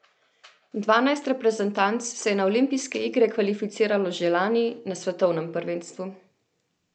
Dvanajst reprezentanc se je na olimpijske igre kvalificiralo že lani na svetovnem prvenstvu.